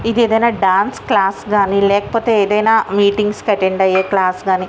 ఇది ఏదైనా dance class కానీ లేకపోతే ఏదైనా మీటింగ్స్ కి అటెండ్ అయే క్లాస్ కానీ--